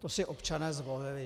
To si občané zvolili.